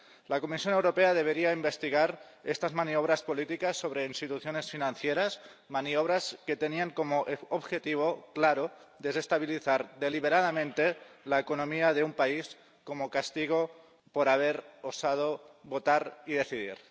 La Comisión Europea debería investigar estas maniobras políticas sobre instituciones financieras, maniobras que tenían como objetivo claro desestabilizar deliberadamente la economía de un país como castigo por haber osado votar y decidir.